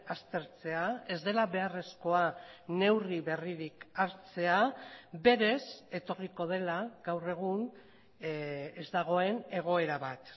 aztertzea ez dela beharrezkoa neurri berririk hartzea berez etorriko dela gaur egun ez dagoen egoera bat